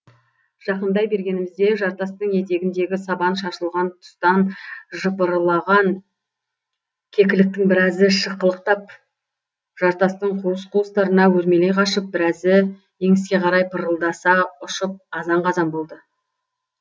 жақындай бергенімізде жартастың етегіндегі сабан шашылған тұстан жыпырлаған кекіліктің біразы шықылықтап жартастың қуыс қуыстарына өрмелей қашып біразы еңіске қарай пырылдаса ұшып азан қазан болды